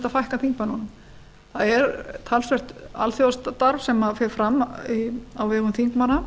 að fækka þingmönnunum það er talsvert alþjóðastarf sem fer fram á vegum þingmanna